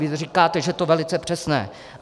Vy říkáte, že je to velice přesné.